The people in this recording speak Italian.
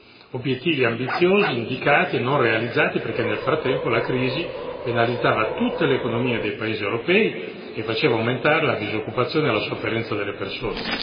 Gli obiettivi ambiziosi indicati non sono stati realizzati, perché nel frattempo la crisi penalizzava tutte le economie dei paesi europei e faceva aumentare la disoccupazione e la sofferenza delle persone.